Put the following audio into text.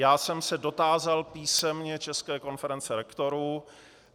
Já jsem se dotázal písemně České konference rektorů.